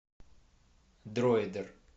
дроидер